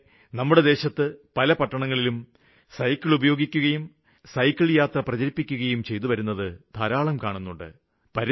ഈയിടെ നമ്മുടെ ദേശത്ത് പല പട്ടണങ്ങളിലും സൈക്കിള് ഉപയോഗിക്കുകയും സൈക്കിള്യാത്ര പ്രചരിപ്പിക്കുകയും ചെയ്തു വരുന്നത് ധാരാളം കാണുന്നുണ്ട്